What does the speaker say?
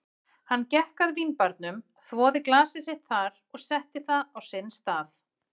Hann gekk að vínbarnum, þvoði glasið sitt þar og setti það á sinn stað.